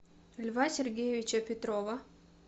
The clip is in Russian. льва сергеевича петрова